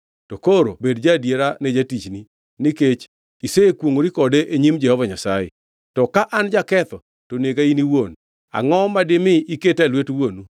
In to koro bed ja-adiera ne jatichni, nikech isekwongʼori kode e nyim Jehova Nyasaye. To ka an jaketho to nega in iwuon! Angʼo ma dimi iketa e lwet wuonu?”